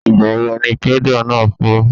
Ìgbà wo ni pẹ́dà náà fọ́?